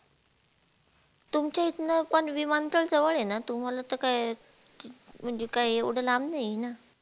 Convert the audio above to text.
तुमच्या इथन पण विमानतळ जवळ हे ना तुम्हाला तर काय म्हणजे काय एवढ लांब नाही हे ना.